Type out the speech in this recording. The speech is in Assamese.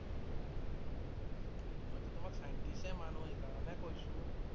মই টো তোমাক Scientist এ মানো সেইকাৰণে কৈছোঁ